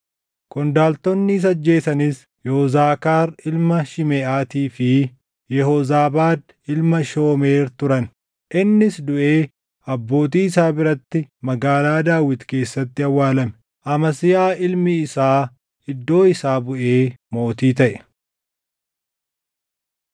Qondaaltonni isa ajjeesanis Yozaakaar ilma Shimeʼaatii fi Yehoozaabaad ilma Shoomeer turan. Innis duʼee abbootii isaa biratti Magaalaa Daawit keessatti awwaalame. Amasiyaa ilmi isaa iddoo isaa buʼee mootii taʼe.